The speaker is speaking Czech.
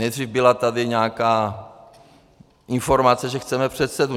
Nejdřív tady byla nějaká informace, že chceme předsedu.